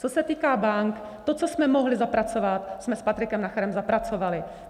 Co se týká bank, to, co jsme mohli zapracovat, jsme s Patrikem Nacherem zapracovali.